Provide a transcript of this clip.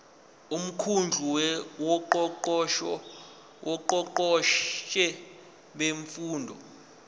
umkhandlu wongqongqoshe bemfundo